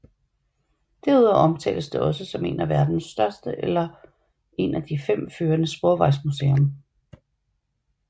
Derudover omtales det også som et af verdens største eller en af de fem førende sporvejsmuseer